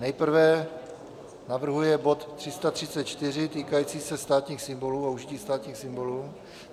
Nejprve navrhuje bod 334 týkající se státních symbolů a užití státních symbolů.